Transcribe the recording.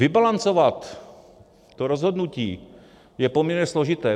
Vybalancovat to rozhodnutí je poměrně složité.